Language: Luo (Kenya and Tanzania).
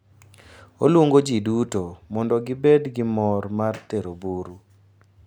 Oluongo ji duto mondo gibed gi mor mar Tero buru.